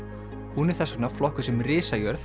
hún er þess vegna flokkuð sem